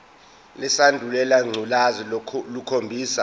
lesandulela ngculazi lukhombisa